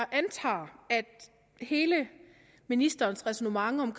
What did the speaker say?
antager at hele ministerens ræsonnement om